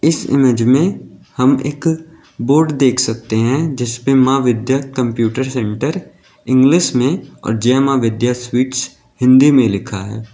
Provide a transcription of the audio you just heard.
इस इमेज में हम एक बोर्ड देख सकते हैं जिस पे Maa Vidya computer centre English में और जय मां विद्या स्वीट्स हिंदी में लिखा है।